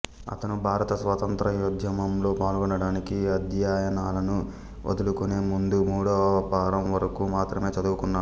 అతను భారత స్వాతంత్ర్యోద్యమంలో పాల్గొనడానికి అధ్యయనాలను వదులుకునే ముందు మూడవఫారం వరకు మాత్రమే చదువుకున్నాడు